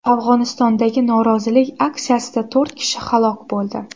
Afg‘onistondagi norozilik aksiyasida to‘rt kishi halok bo‘ldi.